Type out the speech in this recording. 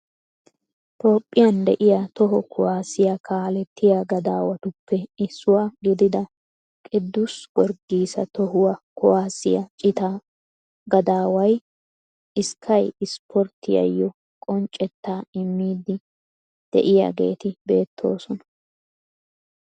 Toophphiyan de'iya toho kuwaassiya kaalettiya gadaawattuppe issuwa gidida kidus giorgisiya toho kuwaasiya cittaa gadaaway skay sporttiyayoo qonccettaa immidi de'iyaageeti beettoosona.